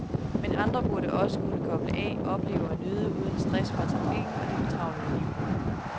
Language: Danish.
Men andre burde også kunne koble af, opleve og nyde, uden stress fra trafikken og det fortravlede liv.